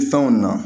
Fɛnw na